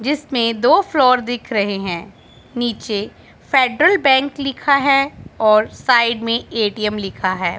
जिसमें दो फ्लोर दिख रहे है नीचे फेडरल बैंक लिखा है और साइड में ए_टी_एम लिखा है।